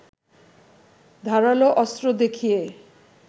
ধারালো অস্ত্র দেখিয়ে